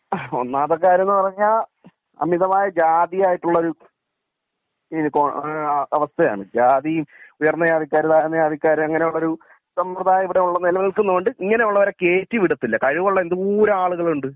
അഹ് ഒന്നാമത്തെ കാര്യം എന്ന് പറഞ്ഞാൽ അമിതമായ ജാതി ആയിട്ടുള്ള ഒരു ഈഹ് കോ ഈഹ് അവസ്ഥയാണ് ജാതി ഉയർന്ന ജാതിക്കാർ താഴ്ന്ന ജാതിക്കാർ അങ്ങിനെ ഉള്ളൊരു സമ്പ്രദായം ഇവിടെ നെല നിൽക്കുന്നൊണ്ട് ഇങ്ങനെ ഉള്ളവരെ കേറ്റി വിടത്തില്ല കഴിവുള്ള എന്തോരം ആളുകളുണ്ട്